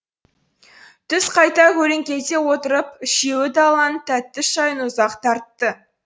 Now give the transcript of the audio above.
түс қайта көлеңкеде отырып үшеуі даланың тәтті шайын ұзақ тартты